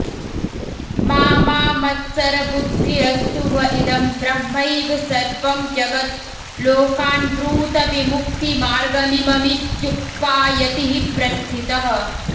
मा मा मत्सरबुद्धिरस्तु व इदं ब्रह्मैव सर्वं जगत् लोकान् ब्रूत विमुक्तिमार्गमिममित्युक्त्वा यतिः प्रस्थितः